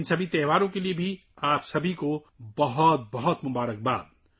ان تمام تہواروں کے لیے آپ سب کو بہت سی نیک خواہشات